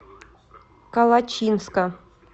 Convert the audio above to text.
калачинска